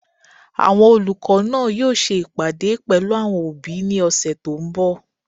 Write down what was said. Àwọn olùkọ́ náà yóò ṣe ìpàdé pẹ̀lú àwọn òbí ní ọ̀sẹ̀ tó n bọ̀